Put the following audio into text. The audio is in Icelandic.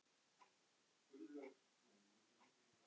Binni Frank, velgjörðarmaður hans og vinur.